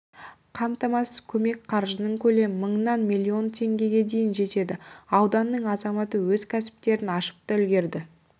қайтарымсыз көмек қаржының көлемі мыңнан миллион теңгеге дейін жетеді ауданның азаматы өз кәсіптерін ашып та үлгерді